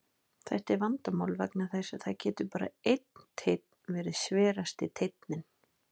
Þetta er vandamál vegna þess að það getur bara einn teinn verið sverasti teinninn.